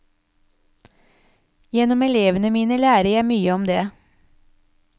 Gjennom elevene mine lærer jeg mye om det.